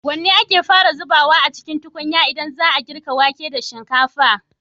Wanne ake fara zubawa a cikin tukunya idan za a yi girka wake da shinkafa?